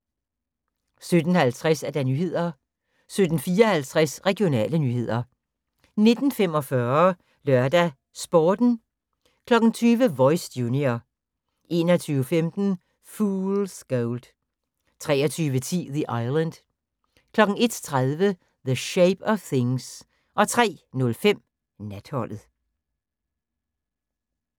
17:50: Nyhederne 17:54: Regionale nyheder 19:45: LørdagsSporten 20:00: Voice – junior 21:15: Fool's Gold 23:10: The Island 01:30: The Shape of Things 03:05: Natholdet